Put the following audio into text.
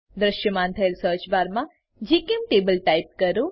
દ્રશ્યમાન થયેલ સર્ચ બારમાં જીચેમ્ટેબલ ટાઈપ કરો